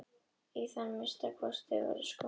Í það minnsta var sá fátækur sem gekk á vondum skóm.